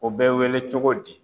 O bɛ weele cogo di?